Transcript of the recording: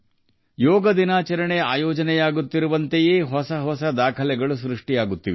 ಯೋಗ ದಿನಾಚರಣೆ ನಡೆಯುತ್ತಿದ್ದಂತೆ ಹೊಸ ದಾಖಲೆಗಳೂ ಸೃಷ್ಟಿಯಾಗುತ್ತಿವೆ